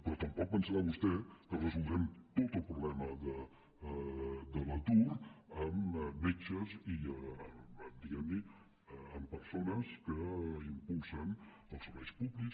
però tampoc deu pensar vostè que resoldrem tot el problema de l’atur amb metges i diguem ne amb persones que impulsen els serveis públics